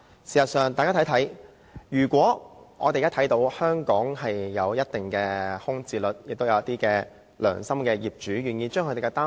事實上，我們現在看到香港房屋有一定的空置率，亦有"良心業主"願意騰出單位。